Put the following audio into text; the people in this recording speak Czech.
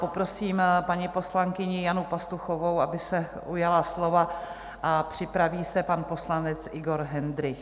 Poprosím paní poslankyni Janu Pastuchovou, aby se ujala slova, a připraví se pan poslanec Igor Hendrych.